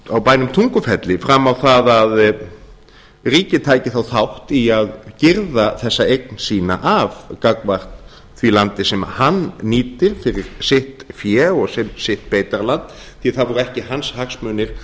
á bænum tungufelli fram á það að ríkið tæki þá þátt í að girða þessa eign sína af gagnvart því landi sem hann nýtir fyrir sitt fé og sitt beitarland því það voru ekki hans hagsmunir